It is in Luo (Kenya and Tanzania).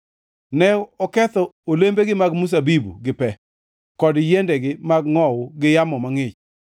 Ne oketho olembegi mag mzabibu gi pe, kod yiendegi mag ngʼowu gi yamo mangʼich.